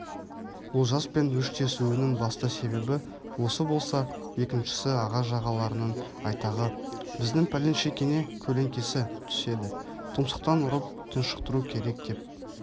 олжаспен өштесуінің басты себебі осы болса екіншісі аға-жағаларының айтағы біздің пәленшекеңе көлеңкесі түседі тұмсықтан ұрып тұншықтыру керек деп